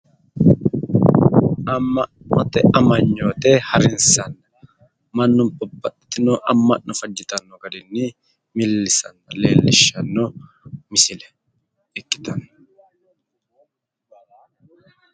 Amma'note manyoote harinsanna, mannu babbaxitino amma'no fajjitanno garinni millisanna leellishshanno misileeti ikkitanno.